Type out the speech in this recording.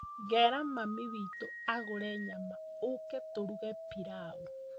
Ngera mami witu agũre nyama ũke tũruge pilaũ